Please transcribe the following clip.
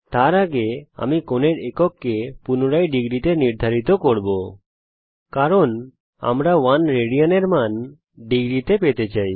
তার আগে আমি কোণের একককে পুনরায় ডিগ্রীতে নির্ধারিত করব কারণ আমরা 1 Rad এর মান ডিগ্রীতে পেতে চাই